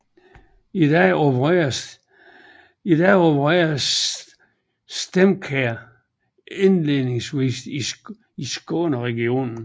I dag opererer StemCare indledningsvist i Skåne regionen